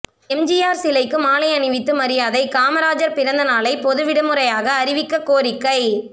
எம்ஜிஆர் சிலைக்கு மாலை அணிவித்து மரியாதை காமராஜர் பிறந்த நாளை பொது விடுமுறையாக அறிவிக்க கோரிக்கை